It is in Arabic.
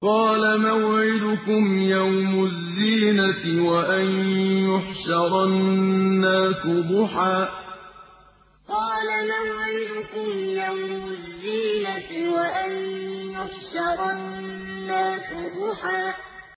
قَالَ مَوْعِدُكُمْ يَوْمُ الزِّينَةِ وَأَن يُحْشَرَ النَّاسُ ضُحًى قَالَ مَوْعِدُكُمْ يَوْمُ الزِّينَةِ وَأَن يُحْشَرَ النَّاسُ ضُحًى